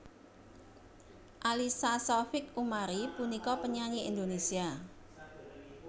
Alyssa Saufik Umari punika penyanyi Indonesia